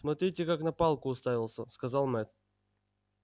смотрите как на палку уставился сказал мэтт